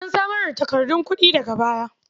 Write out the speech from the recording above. An samar da takardun kuɗi daga baya.